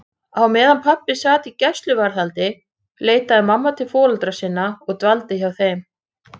Á meðan pabbi sat í gæsluvarðhaldi leitaði mamma til foreldra sinna og dvaldi hjá þeim.